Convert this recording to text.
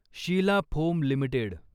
Sheila Foam limited